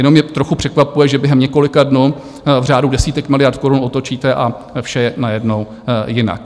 Jenom mě trochu překvapuje, že během několika dnů, v řádu desítek miliard korun otočíte a vše je najednou jinak.